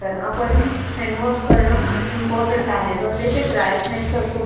handwash करण important आहे भले ते ड्राय स्नॅक्स असो